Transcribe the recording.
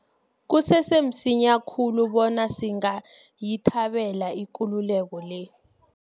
Kusese msinya khulu bona singayithabela ikululeko le.